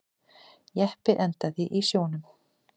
Jeppi endaði í sjónum